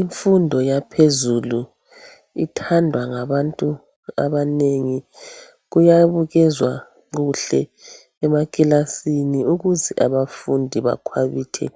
Imfundo yaphezulu ithandwa ngabantu abanengi kuyabukezwa kuhle emakilasini ukuze abafundi bakwabithe